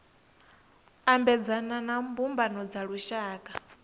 ambedzana na mbumbano dza lushaka